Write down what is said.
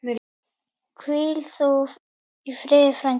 Hvíl þú í friði frændi.